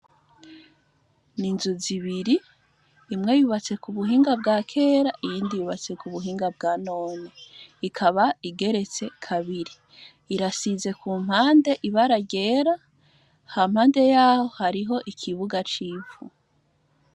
N'inzu zibiri, imwe yubatse k'ubuhinga bwa kera, iyindi yubatse k'ubuhinga bwa none, ikaba igeretse kabiri, irasize kumpande ibara ryera, hampande yaho hariho ikibuga c'ivu.